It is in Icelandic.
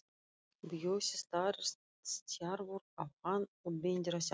Bjössi starir stjarfur á hann og bendir á sjálfan sig.